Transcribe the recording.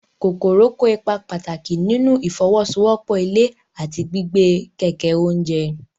Kòkòrò kó ipa pàtàkì nínú ìfọwọ́sowọ́pọ̀ ilẹ̀ àti gbígbé kẹ̀kẹ́ oúnjẹ.